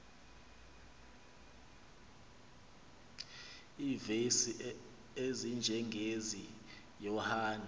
iivesi ezinjengezi yohane